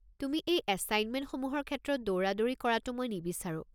তুমি এই এছাইনমেণ্টসমূহৰ ক্ষেত্ৰত দৌৰাদৌৰি কৰাটো মই নিবিচাৰোঁ।